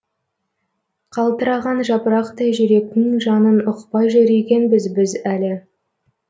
қалтыраған жапырақтай жүректің жанын ұқпай жүр екенбіз біз әлі